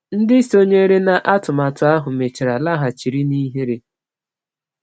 Ndị sonyere n’atụmatụ ahụ mechara laghachiri na ihere.